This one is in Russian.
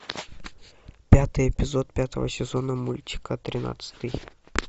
пятый эпизод пятого сезона мультика тринадцатый